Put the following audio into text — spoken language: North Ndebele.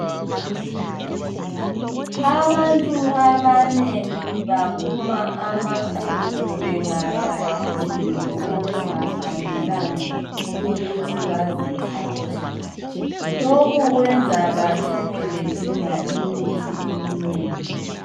Abantu abanengi baphuma amaqubu bengadla izinto okungafanelanga ukuthi bazithathe. Lokhu kwenza bacine bedinge imithi eminengi.